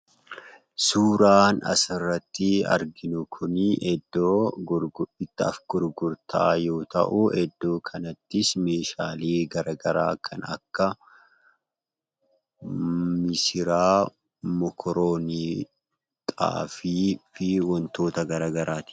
Suuraan asirratti arginu kunii iddoo bittaa fi gurgurtaa yoo ta'uu iddoo kanattis meeshaalee gara garaa kan akka: missiraa, mokoroonii, xaafii fi wantoota gara garaati.